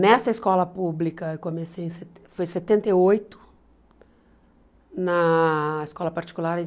Nessa escola pública eu comecei em se foi setenta e oito, na escola particular em